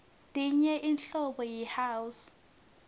tenye inhlobo yi house